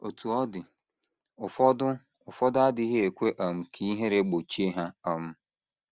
Otú ọ dị, ụfọdụ ụfọdụ adịghị ekwe um ka ihere gbochie ha um.